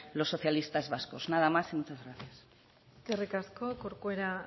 los socialistas vascos nada más y muchas gracias eskerrik asko corcuera